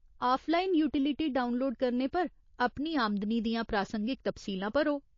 Offline utility download करने पर, अपनी आमदनी दियां प्रासंगिक तफसीलां भरो।